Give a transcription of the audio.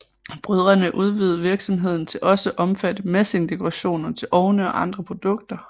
Brødrene udvidede virksomheden til også at omfatte messingdekorationer til ovne og andre produkter